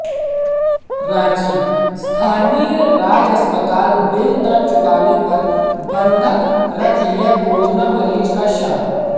रांचीः स्थानीय राज अस्पताल बिल न चुकाने पर बंधक रख लिया कोरोना मरीज का शव